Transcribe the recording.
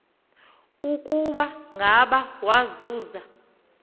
ukuba ngaba wawuza